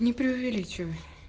не преувеличивай